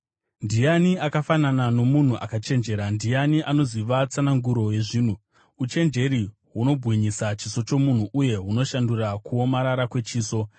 Ndiani akafanana nomunhu akachenjera? Ndiani anoziva tsananguro yezvinhu? Uchenjeri hunobwinyisa chiso chomunhu uye hunoshandura kuomarara kwechiso.